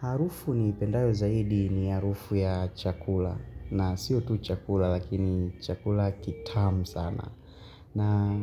Harufu niipendayo zaidi ni harufu ya chakula. Na sio tu chakula lakini chakula kitamu sana. Na